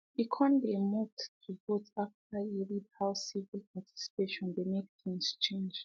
e kon dey moved to vote after e read how civic participation dey make things change